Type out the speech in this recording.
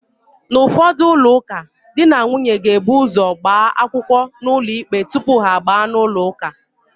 N'ụfọdụ ụlọụka, di na nwunye ga-ebu ụ́zọ̀ gbaa akwụkwọ n'ụlọikpe tupu ha agbaa n'ụlọụka.